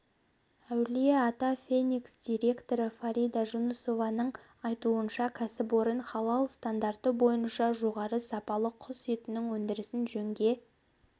әулие-ата феникс директоры фарида жунусованың айтуынша кәсіпорын халал стандарты бойынша жоғары сапалы құс етінің өндірісін жөнге